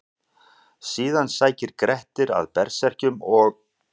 Síðan sækir Grettir að berserkjum og: